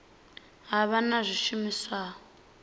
ha vha na zwishumiswa zwa